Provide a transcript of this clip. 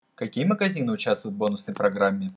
какие магазины участвуют в бонусной программе